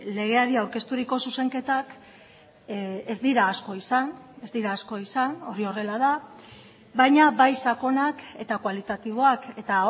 legeari aurkezturiko zuzenketak ez dira asko izan ez dira asko izan hori horrela da baina bai sakonak eta kualitatiboak eta